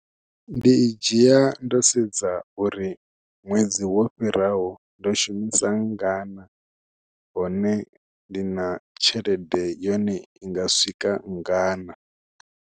Ndi i dzhia ndo sedza uri ṅwedzi wo fhiraho ndo shumisa nngana hone ndi na tshelede yone i nga swika nngana.